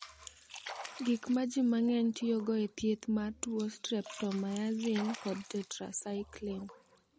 Gik ma ji mang’eny tiyogo e thieth mar tuo mar streptomaisin kod tetrasaikliin.